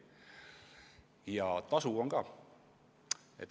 See tasus ära.